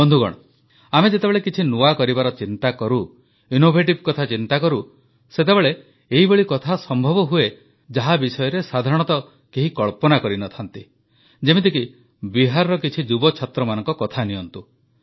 ବନ୍ଧୁଗଣ ଆମେ ଯେତେବେଳେ କିଛି ନୂଆ କରିବାର ଚିନ୍ତା କରୁ ନବୋନ୍ମେଷ କଥା ଚିନ୍ତାକରୁ ସେତେବେଳେ ଏଇଭଳି କଥା ସମ୍ଭବ ହୁଏ ଯାହା ବିଷୟରେ ସାଧାରଣତଃ କେହି କଳ୍ପନା କରିନଥାନ୍ତି ଯେମିତିକି ବିହାରର କିଛି ଯୁବ ଛାତ୍ରମାନଙ୍କ କଥା ନିଅନ୍ତୁ